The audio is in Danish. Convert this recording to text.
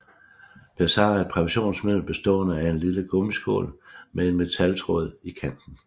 Pessar er et præventionsmiddel bestående af en lille gummiskål med en metaltråd i kanten